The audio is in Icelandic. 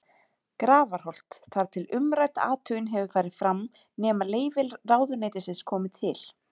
Grafarholt, þar til umrædd athugun hefur farið fram, nema leyfi ráðuneytisins komi til.